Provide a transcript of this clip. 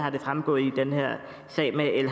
fremgået i den her sag med el